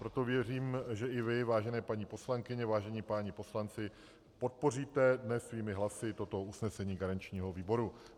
Proto věřím, že i vy, vážené paní poslankyně, vážení páni poslanci, podpoříte dnes svými hlasy toto usnesení garančního výboru.